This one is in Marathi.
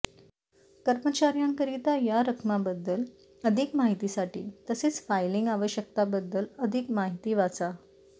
कर्मचार्यांकरिता या रकमाबद्दल अधिक माहितीसाठी तसेच फाईलिंग आवश्यकतांबद्दल अधिक माहिती वाचा